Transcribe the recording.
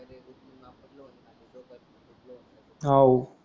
हव